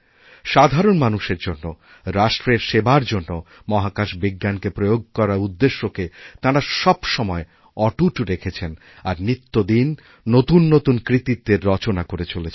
সাধারণ মানুষের জন্য রাষ্ট্রেরসেবার জন্য মাহাকাশ বিজ্ঞানকে প্রয়োগ করার উদ্দেশ্যকে তাঁরা সবসময় অটুট রেখেছেন আরনিত্যদিন নতুন নতুন কৃতিত্বের রচনা করে চলেছেন